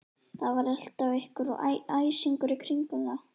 Það var alltaf einhver æsingur í kringum þá.